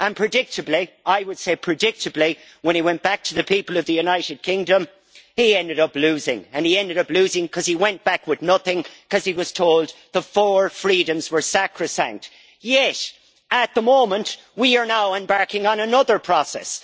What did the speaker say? And predictably, when he went back to the people of the United Kingdom he ended up losing, and he ended up losing because he went back with nothing because he was told that the four freedoms were sacrosanct. Yet, at the moment, we are now embarking on another process.